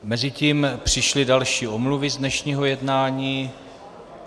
Mezitím přišly další omluvy z dnešního jednání.